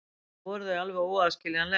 Eiginlega voru þau alveg óaðskiljanleg.